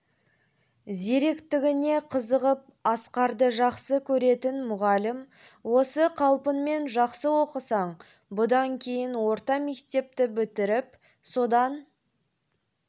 зиректігіне қызығып асқарды жақсы көретін мұғалім осы қалпыңмен жақсы оқысаң бұдан кейін орта мектепті бітіріп содан